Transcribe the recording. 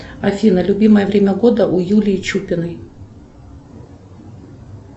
афина любимое время года у юлии чупиной